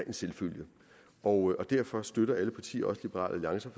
en selvfølge og derfor støtter alle partier også liberal alliance